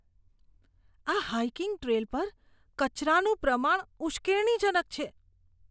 આ hiking trail પર કચરાનું પ્રમાણ ઉશ્કેરણીજનક છે.